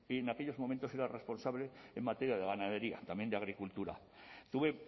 en aquellos momentos era responsable en materia de ganadería también de agricultura tuve